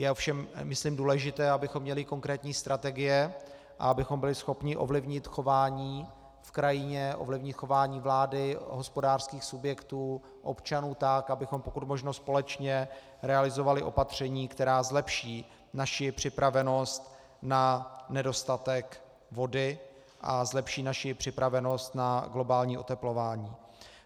Je ovšem myslím důležité, abychom měli konkrétní strategie a abychom byli schopni ovlivnit chování v krajině, ovlivnit chování vlády, hospodářských subjektů, občanů tak, abychom pokud možno společně realizovali opatření, která zlepší naši připravenost na nedostatek vody a zlepší naši připravenost na globální oteplování.